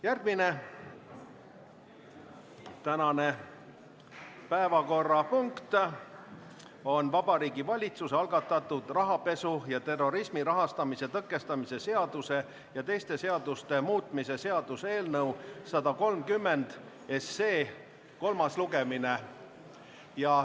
Järgmine päevakorrapunkt on Vabariigi Valitsuse algatatud rahapesu ja terrorismi rahastamise tõkestamise seaduse ja teiste seaduste muutmise seaduse eelnõu 130 kolmas lugemine.